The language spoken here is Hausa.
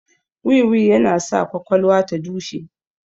Wiwi yana sa kwakwalwa ta dushe